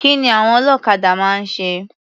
Kí ni àwon ọlọ́kadà máa ń ṣe?